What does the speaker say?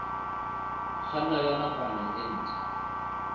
kganna ya nakwana e ntshwa